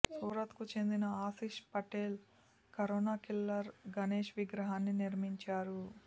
సూరత్కు చెందిన Ashish Patel corona killer Ganesh విగ్రహాన్ని నిర్మించారు